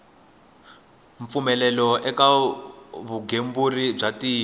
mpfumelelo eka vugembuli bya tiko